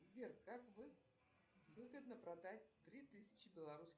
сбер как выгодно продать три тысячи белорусских